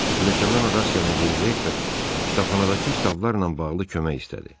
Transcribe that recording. Pilləkandan ona rast gələn yeni rektor kitabxanadakı kitablarla bağlı kömək istədi.